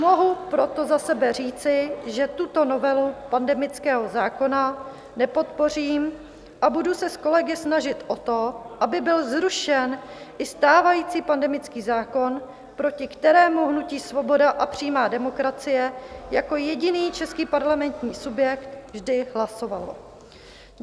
Mohu proto za sebe říci, že tuto novelu pandemického zákona nepodpořím a budu se s kolegy snažit o to, aby byl zrušen i stávající pandemický zákon, proti kterému hnutí Svoboda a přímá demokracie jako jediný český parlamentní subjekt vždy hlasovalo.